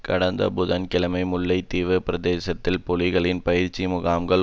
கடந்த புதன் கிழமை முல்லை தீவு பிரதேசத்தில் புலிகளின் பயிற்சி முகாம்கள்